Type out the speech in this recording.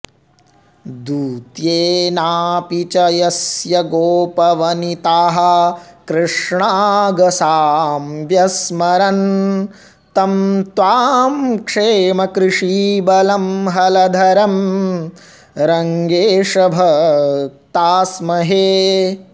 दूत्येनापि च यस्य गोपवनिताः कृष्णागसां व्यस्मरन् तं त्वां क्षेमकृषीबलं हलधरं रङ्गेश भक्तास्महे